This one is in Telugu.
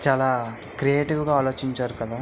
చాలా క్రియేటివ్ గా ఆలోచించారు కదా.